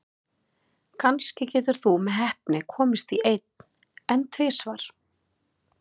Kannski getur þú með heppni komist í einn, en tvisvar?